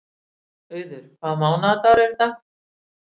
Auður, hvaða mánaðardagur er í dag?